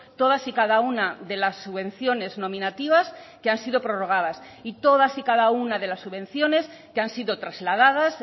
todas y cada una de las subvenciones nominativas que han sido prorrogadas y todas y cada una de las subvenciones que han sido trasladadas